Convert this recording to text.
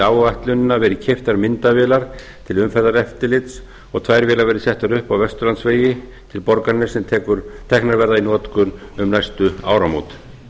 áætlunina verið keyptar myndavélar til umferðareftirlits og tvær vélar verið settar upp á vesturlandsvegi til borgarness sem teknar verða í notkun um næstu áramót